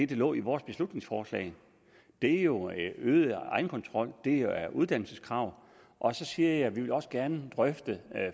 der lå i vores beslutningsforslag det er jo øget egenkontrol det er uddannelseskrav og så siger jeg at vi også gerne vil drøfte